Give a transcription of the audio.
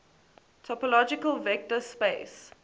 topological vector space